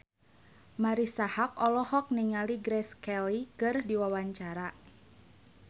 Marisa Haque olohok ningali Grace Kelly keur diwawancara